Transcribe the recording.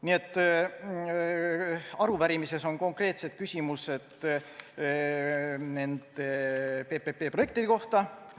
Nii et arupärimises on konkreetsed küsimused PPP-projektide kohta.